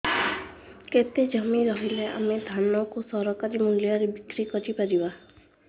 କେତେ ଜମି ରହିଲେ ଆମେ ଧାନ କୁ ସରକାରୀ ମୂଲ୍ଯରେ ବିକ୍ରି କରିପାରିବା